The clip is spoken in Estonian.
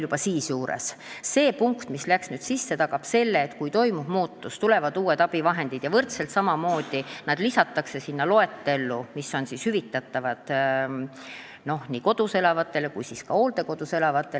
See punkt, mis nüüd sisse läks, tagab selle, et kui toimub muutus ja tulevad uued abivahendid, siis lisatakse need samamoodi sinna loetellu, mis on hüvitatavad nii kodus elavatele kui ka hooldekodus elavatele inimestele.